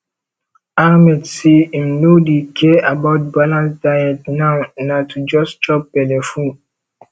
ahmed say im no dey care about balanced diet now na to just chop belleful